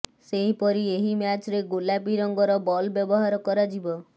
ସେହିପରି ଏହି ମ୍ୟାଚରେ ଗୋଲାପୀ ରଙ୍ଗର ବଲ ବ୍ୟବହାର କରାଯିବ